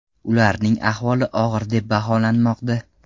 Ularning ahvoli og‘ir deb baholanmoqda.